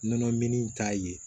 Nɔnɔminɛn in t'a ye